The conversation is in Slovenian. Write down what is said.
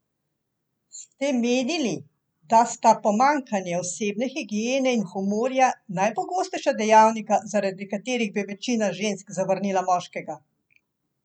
Ste menili, da sta pomanjkanje osebne higiene in humorja najpogostejša dejavnika, zaradi katerih bi večina žensk zavrnila moškega?